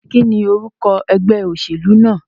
Kíní orúko egbé òsèlú náà?